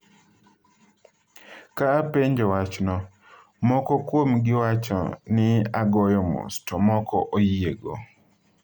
"Ka apenjo wachno, moko kuomgi wacho ni agoyo mos, to moko oyiego."""